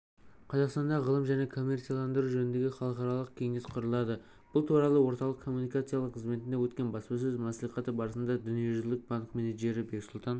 қазақстанда ғылым және коммерцияландыру жөніндегі халықаралық кеңес құрылады бұл туралы орталық коммуникациялар қызметінде өткен баспасөз мәслихаты барысында дүниежүзілік банк менеджері бексұлтан